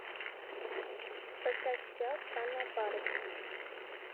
поставь сериал странная парочка